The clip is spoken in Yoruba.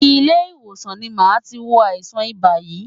Ilé ìwòsàn ni màá ti wo àìsàn ibà yìí.